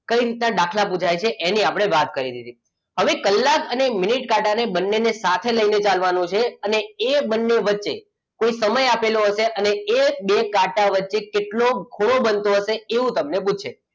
કઈ રીતના દાખલા પુછાય છે એની આપણે વાત કરી. હવે કલાક અને મિનિટ કાંટા બંનેને સાથે લઈને ચાલવાનું છે અને એ બંને વચ્ચે એક સમય આપેલો હોય છે અને એ બે કાંટા વચ્ચે કેટલો ખૂણો બનતો હશે એવું તમને પૂછશે.